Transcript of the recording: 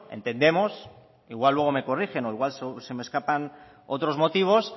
entendemos igual luego me corrigen o igual se me escapan otros motivos